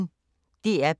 DR P1